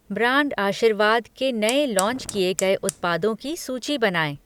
Brand Aashirvaad के नए launch किए गए उत्पादों की सूची बनाएँ?